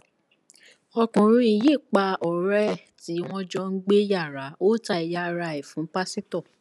ọkùnrin yìí pa ọrẹ ẹ tí wọn jọ ń gbé yàrá ó ta ẹyà ara ẹ fún pásítọ